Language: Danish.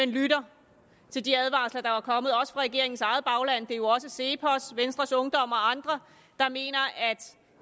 lytter til de advarsler der er kommet også fra regeringens eget bagland det er jo også cepos venstres ungdom og andre der mener at